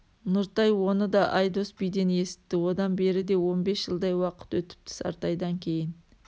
нұртай оны да айдос биден есітті одан бері де он бес жылдай уақыт өтіпті сартайдан кейін